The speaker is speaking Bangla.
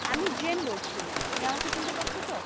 আমি জেম বলছি তুমি আমাকে চিনতে পারছো তো?